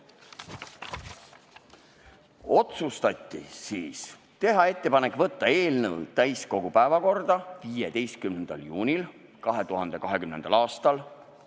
Otsustati teha ettepanek võtta eelnõu täiskogu päevakorda 15. juunil 2020. aastal.